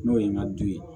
N'o ye n ka du ye